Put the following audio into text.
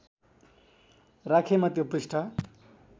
राखेमा त्यो पृष्ठ